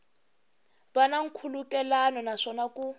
va na nkhulukelano naswona ku